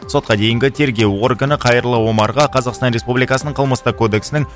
сотқа дейінгі тергеу органы қайырлы омарға қазақстан республикасының қылмыстық кодексінің